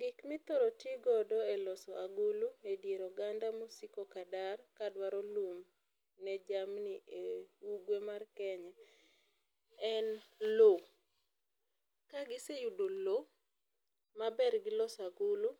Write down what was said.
Gik mi ithoro ti godo e loso agulu e dier oganda ma osiko ka dar ka dwaro lum ne jamni e ugwe mar Kenya en loo ka gi seyudo lo ma ber gi loso agulu